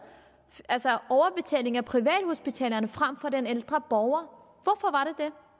overbetaling af privathospitalerne frem for den ældre borger hvorfor